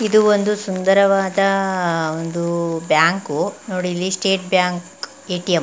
ಇದು ಒಂದು ಸುಂದರವಾದ ಒಂದು ಬ್ಯಾಂಕು ನೋಡಿಲ್ಲಿ ಸ್ಟೇಟ್ ಬ್ಯಾಂಕ್ ಏ_ಟಿ_ಎಂ --